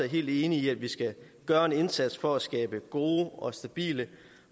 helt enige i at vi skal gøre en indsats for at skabe gode og stabile